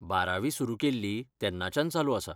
बारावी सुरू केल्ली तेन्नाच्यान चालू आसा.